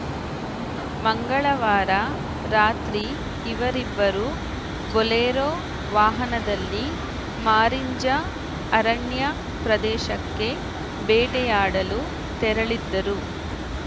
ಮಂಗಳವಾರ ರಾತ್ರಿ ಇವರಿಬ್ಬರು ಬೊಲೆರೋ ವಾಹನದಲ್ಲಿ ಮಾರಿಂಜ ಅರಣ್ಯ ಪ್ರದೇಶಕ್ಕೆ ಬೇಟೆಯಾಡಲು ತೆರಳಿದ್ದರು